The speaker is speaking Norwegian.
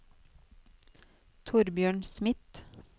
Torbjørn Smith